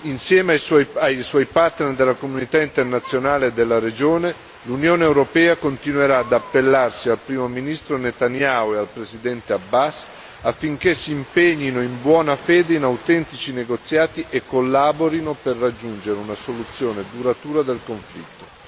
Insieme ai suoi partner della comunità internazionale e della regione, l'Unione europea continuerà ad appellarsi al primo ministro Netanyahu e al presidente Abbas affinché si impegnino in buona fede in autentici negoziati e collaborino per raggiungere una soluzione duratura del conflitto.